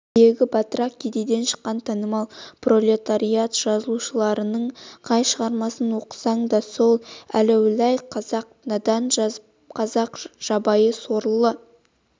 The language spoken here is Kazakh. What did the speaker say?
тегі батырақ кедейден шыққан танымал пролетариат жазушыларының қай шығармасын оқысаң да сол әләуләй қазақ надан қазақ жабайы сорлы